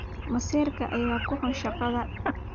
Masayrka ayaa ku xun shaqada.